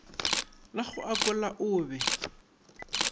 la go akola o be